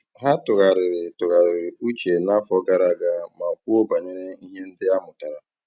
Ha tụ̀ghàrị̀rì tụ̀ghàrị̀rì ùchè n'àfọ́ gààrà àga mà kwùó bànyèrè ihe ndí a mụ́tàra.